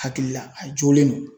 Hakili la a jolen don